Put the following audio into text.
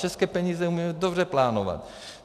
České peníze umíme dobře plánovat.